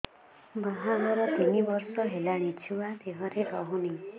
ବାହାଘର ତିନି ବର୍ଷ ହେଲାଣି ଛୁଆ ଦେହରେ ରହୁନି